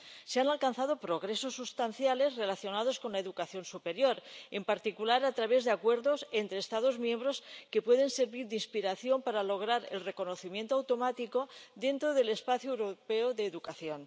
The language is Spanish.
Se han alcanzado progresos sustanciales relacionados con la educación superior, en particular a través de acuerdos entre Estados miembros, que pueden servir de inspiración para lograr el reconocimiento automático dentro del espacio europeo de educación.